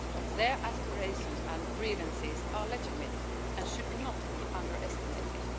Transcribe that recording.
Their aspirations and grievances are legitimate and should not be underestimated.